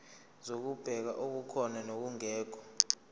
zokubheka okukhona nokungekho